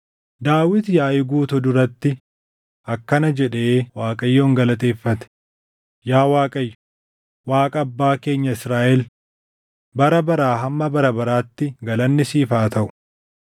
Daawit yaaʼii guutuu duratti akkana jedhee Waaqayyo galateeffate; “Yaa Waaqayyo, Waaqa abbaa keenya Israaʼel bara baraa hamma bara baraatti galanni siif haa taʼu.